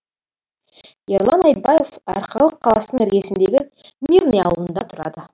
ерлан айтбаев арқалық қаласының іргесіндегі мирный ауылында тұрады